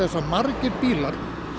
að margir bílar